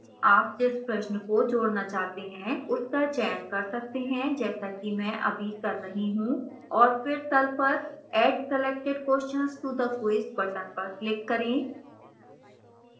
आप जिस प्रश्न को जोड़ना चाहते हैं उसका चयन कर सकते हैं जैसा कि मैं अभी कर रही you और फिर तल पर add selected questions to the quiz button पर click करें